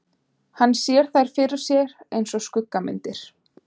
Hann sér þær fyrir sér einsog skuggamyndir.